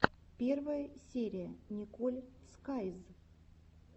первая серия николь скайз